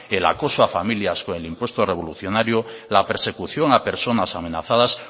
el acoso a familia con el impuesto revolucionario la persecución a personas amenazadas